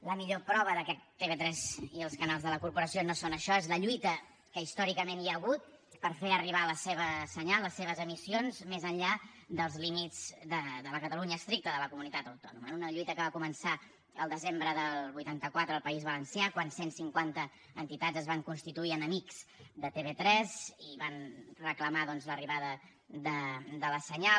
la millor prova que tv3 i els canals de la corporació no són això és la lluita que històricament hi ha hagut per fer arribar el seu senyal les seves emissions més enllà dels límits de la catalunya estricta de la comunitat autònoma una lluita que va començar el desembre del vuitanta quatre al país valencià quan cent cinquanta entitats es van constituir en amics de tv3 i van reclamar doncs l’arribada del senyal